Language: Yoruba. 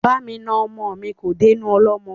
Ba mi na ọmọ mi kò dénú ọlọ́mọ.